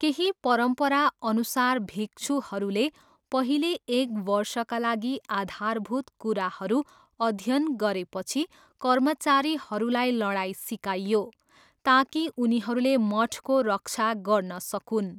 केही परम्पराअनुसार, भिक्षुहरूले पहिले एक वर्षका लागि आधारभूत कुराहरू अध्ययन गरेपछि कर्मचारीहरूलाई लडाइँ सिकाइयो, ताकि उनीहरूले मठको रक्षा गर्न सकून्।